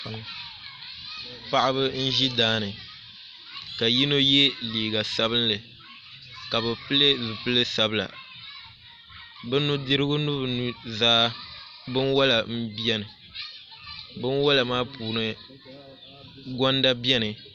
Paɣaba n ʒi daani ka yino yɛ liiga sabinli ka bi pili zipili sabila bi nudirigu ni bi nuzaa binwola n biɛni binwola maa puuni gonda biɛni